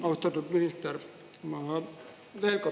Austatud minister!